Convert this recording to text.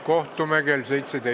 Kohtume kell 17.